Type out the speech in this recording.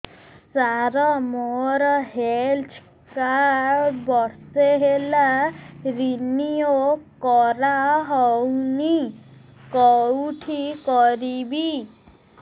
ସାର ମୋର health card ବର୍ଷେ ହେଲା ରିନିଓ କରା ହଉନି କଉଠି କରିବି